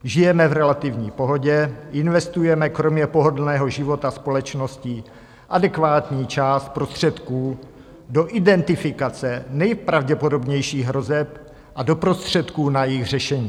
Žijeme v relativní pohodě, investujeme kromě pohodlného života společnosti adekvátní část prostředků do identifikace nejpravděpodobnějších hrozeb a do prostředků na jejich řešení.